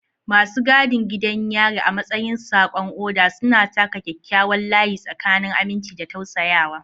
Masu gadin gidan yari, a matsayin saƙon oda, suna taka kyakkyawan layi tsakanin aminci da tausayawa.